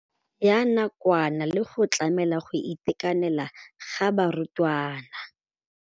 Ya nakwana le go tlamela go itekanela ga barutwana.